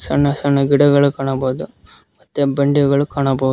ಸಣ್ಣ ಸಣ್ಣ ಗಿಡಗಳು ಕಾಣಬಹುದು ಮತ್ತೆ ಬಂಡೆಗಳು ಕಾಣಬಹುದು.